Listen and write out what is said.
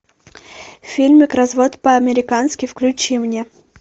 фильмик развод по американски включи мне